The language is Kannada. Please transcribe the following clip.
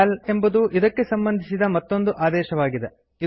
ಸಿಎಎಲ್ ಎಂಬುದು ಇದಕ್ಕೆ ಸಂಬಂಧಿಸಿದ ಮತ್ತೊಂದು ಆದೇಶವಾಗಿದೆ